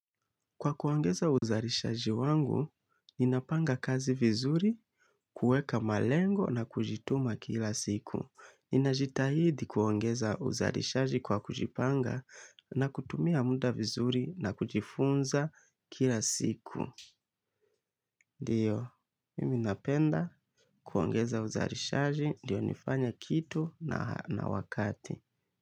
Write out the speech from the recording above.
Kwa kuongeza uzalishaji wangu, ninapanga kazi vizuri, kuweka malengo na kujituma kila siku. Ninajitahidi kuongeza uzalishaji kwa kujipanga na kutumia muda vizuri na kujifunza kila siku. Ndiyo, mimi napenda kuongeza uzalishaji, ndiyo nifanye kitu na wakati.